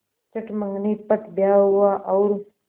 चट मँगनी पट ब्याह हुआ और